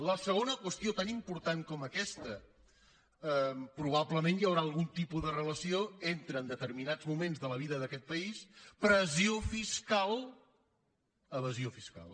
la segona qüestió tan important com aquesta proba·blement hi deu haver algun tipus de relació entre en determinats moments de la vida d’aquest país pressió fiscal · evasió fiscal